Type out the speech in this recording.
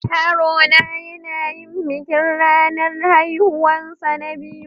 Yaro na yana yin bikin ranan haihuwan sa na biyu.